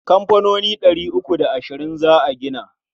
Kamfanoni ɗari uku da ashirin za a gina.